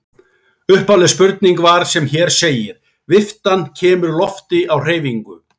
Upphafleg spurning var sem hér segir: Viftan kemur lofti á hreyfingu.